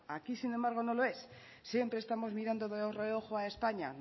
aquí sin embargo no lo es siempre estamos mirando de reojo a españa